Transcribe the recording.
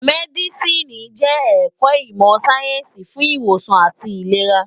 Mèdísìní jè èkò imò sáyènsí fún iwósàn átì ilérá